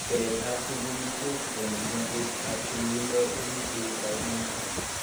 Keret ab sukulishek eng kimoswek ab tilildo komitei kaimoshek.